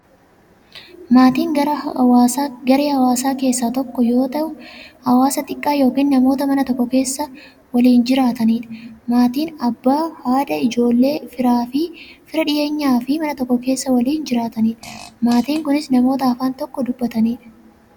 Maatiin garaa hawaasaa keessaa tokko ta'ee, hawaasa xiqqaa yookin namoota Mana tokko keessaa waliin jiraataniidha. Maatiin Abbaa, haadha, ijoolleefi fira dhiyeenyaa, Mana tokko keessaa waliin jiraataniidha. Maatiin kunnis, namoota afaan tokko dubbataniidha.